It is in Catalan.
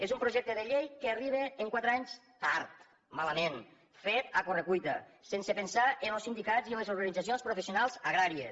és un projecte de llei que arriba quatre anys tard malament fet a correcuita sense pensar en los sindicats i en les organitzacions professionals agràries